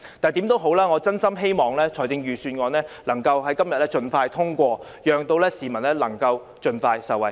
無論如何，我真心希望預算案能在今天盡快通過，讓市民能夠盡快受惠。